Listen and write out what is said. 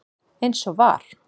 eins og var.